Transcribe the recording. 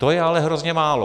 To je ale hrozně málo.